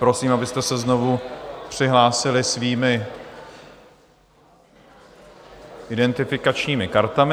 Prosím, abyste se znovu přihlásili svými identifikačními kartami.